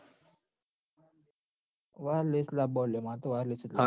wireless લાબબાનો લ્યા માર તો wireless જ જોઈએ